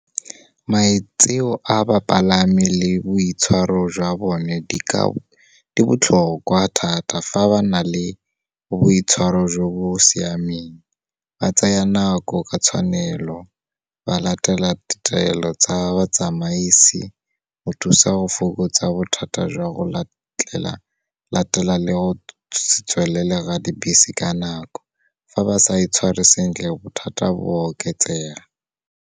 Maitseo a bapalami le boitshwaro jwa bone di botlhokwa thata fa ba na le boitshwaro jo bo siameng, ba tsaya nako ka tshwanelo, ba latela ditaelo tsa batsamaisi, go thusa go fokotsa bothata jwa go latela, le go se tswelele ga dibese ka nako. Fa ba sa itshware sentle, bothata bo oketsega.